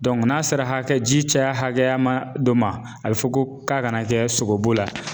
n'a sera hakɛ ji caya hakɛya ma dɔ ma a be fɔ ko k'a kana kɛ sogobu la